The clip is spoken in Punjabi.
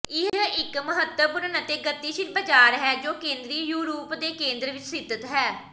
ਇਹ ਇਕ ਮਹੱਤਵਪੂਰਨ ਅਤੇ ਗਤੀਸ਼ੀਲ ਬਾਜ਼ਾਰ ਹੈ ਜੋ ਕੇਂਦਰੀ ਯੂਰਪ ਦੇ ਕੇਂਦਰ ਵਿਚ ਸਥਿਤ ਹੈ